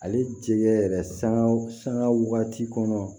Ale jɛgɛ yɛrɛ sangaw sanga waati kɔnɔ